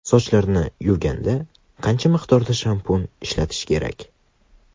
Sochlarni yuvganda qancha miqdorda shampun ishlatish kerak?